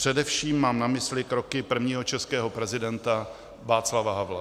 Především mám na mysli kroky prvního českého prezidenta Václava Havla.